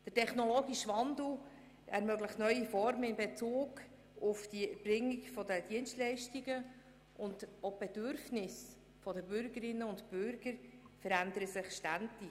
Der technologische Wandel ermöglicht neue Formen in Bezug auf die Erbringung der Dienstleistungen, und auch die Bedürfnisse der Bürgerinnen und Bürger verändern sich ständig.